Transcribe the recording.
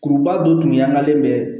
Kuruba dɔ tun y'an kalen bɛ